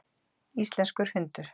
Íslenskur hundur.